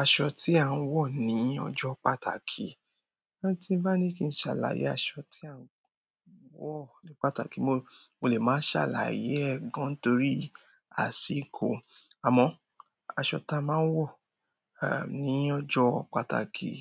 Aṣọ tí à ń wọ̀ ní ọjọ́ pàtàkì, lá tí nbá ní kí n ṣàlàyé aṣọ tí à ń wọ̀ ní pàtàkì, mo, mo lè má ṣàlàyé ẹ̀ gan torí àsìkò. Àmọ́, aṣọ ta máa ń wọ̀, ehn, ní ọjọ́ pàtàkì,